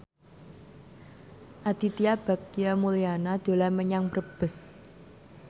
Aditya Bagja Mulyana dolan menyang Brebes